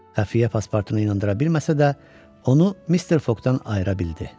Xəfiyyə paspartunu inandıra bilməsə də, onu Mister Foqdan ayıra bildi.